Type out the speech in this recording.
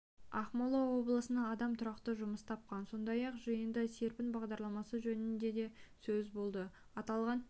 ақмола облысында адам тұрақты жұмыс тапқан сондай-ақ жиында серпін бағдарламасы жөнінде де сөз болды аталған